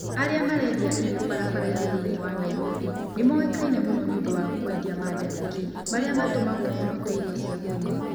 Arĩa marendia irio barabara-inĩ thĩinĩ wa Nairobi nĩ moĩkaine mũno nĩ ũndũ wa kwendia mandarĩki, marĩa matũmagwo mũno ta irio cia kũnyua.